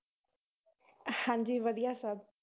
ਹਾਂਜੀ ਵਧੀਆ ਸਭ।